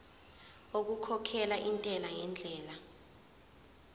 okukhokhela intela ngendlela